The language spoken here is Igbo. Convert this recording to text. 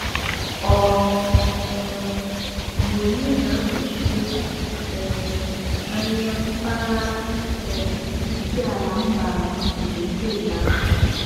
Ọ um bụ onye na-anọchite um anya mpaghara um Isiala Mbano nke steeti ahụ.